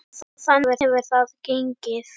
Og þannig hefur þetta gengið.